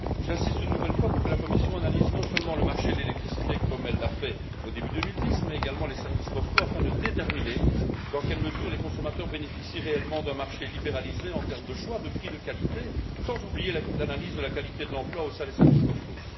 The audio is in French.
J'insiste une nouvelle fois pour que la Commission analyse non seulement le marché de l'électricité, comme elle l'a fait au début 2010, mais également les services postaux, afin de déterminer dans quelle mesure les consommateurs bénéficient réellement d'un marché libéralisé en termes de choix, de prix, de qualité, sans oublier l'analyse de la qualité de l'emploi au sein des services postaux.